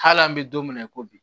Hali an bɛ don min na i ko bi